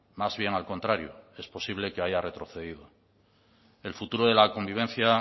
más bien al contrario es posible que haya retrocedido el futuro de la convivencia